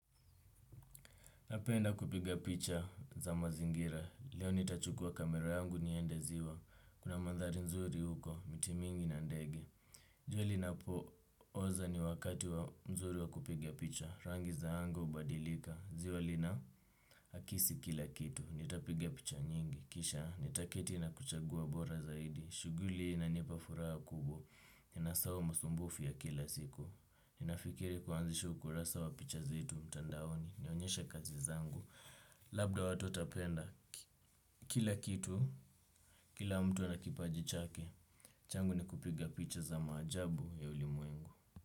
Napenda kupiga picha za mazingira, leo nitachukua kamera yangu nienda ziwa, kuna mandhari nzuri huko, miti mingi na ndege. Jua linapo oza ni wakati wa mzuri wa kupiga picha, rangi za anga hubadilika, ziwa lina kisi kila kitu, nitapiga picha nyingi. Kisha, nitaketi na kuchagua bora zaidi, shughuli hii inanipa furaha kubwa, ninasahau masumbufu ya kila siku. Ninafikiri kuanzisha ukurasa wa picha zangu mtandaoni labda watu watapenda kila kitu, kila mtu na kipaji chake. Changu ni kupiga picha za maajabu ya ulimwengu.